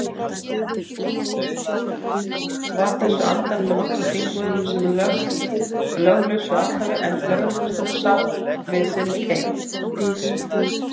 Var þessu andæft af nokkrum þingmönnum sem löglausu athæfi, en lögreglustjóri sat við sinn keip.